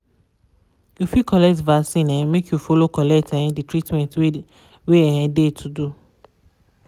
you fit collect vaccin um make you follow collect um de treatment wey um de to do.